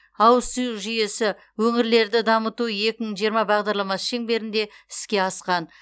ауыз су жүйесі өңірлерді дамыту екі мың жиырма бағдарламасы шеңберінде іске асқан